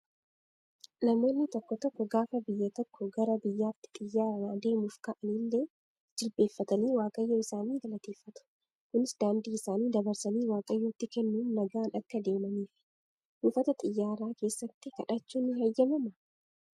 Namoonni tokko tokko gaafa biyya tokkoo gara biraatti xiyyaaraan adeemuuf ka'an illee jilbeeffatanii waaqayyo isaanii galateeffatu. Kunis daandii isaanii dabarsanii waaqayyotti kennuun nagaan akka deemaniifi. Buufata xiyyaaraa keessatti kadhachuun ni heeyyamamaa?